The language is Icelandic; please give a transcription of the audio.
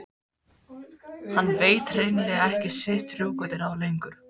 Hann veit hrein- lega ekki sitt rjúkandi ráð lengur.